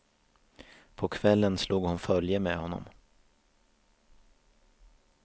På kvällen slog hon följe med honom.